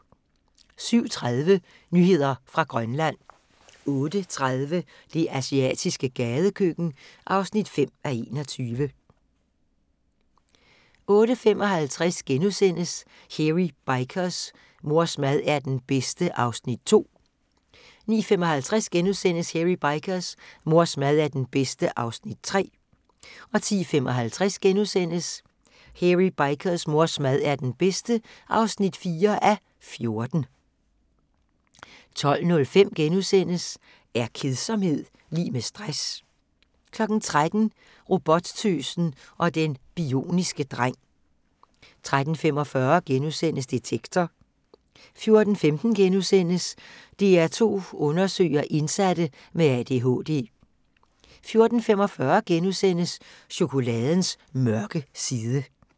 07:30: Nyheder fra Grønland 08:30: Det asiatiske gadekøkken (5:21) 08:55: Hairy Bikers: Mors mad er den bedste (2:14)* 09:55: Hairy Bikers: Mors mad er den bedste (3:14)* 10:55: Hairy Bikers: Mors mad er den bedste (4:14)* 12:05: Er kedsomhed lig med stress? * 13:00: Robottøsen og den bioniske dreng 13:45: Detektor * 14:15: DR2 Undersøger: Indsatte med ADHD * 14:45: Chokoladens mørke side *